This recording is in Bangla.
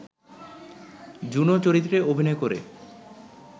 জুনো চরিত্রে অভিনয় করে